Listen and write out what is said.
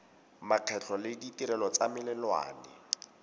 makgetho le ditirelo tsa melelwane